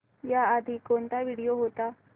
याआधी कोणता व्हिडिओ होता